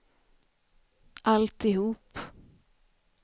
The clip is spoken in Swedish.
alltihop